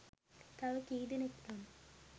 තව කීදෙනෙක් නම්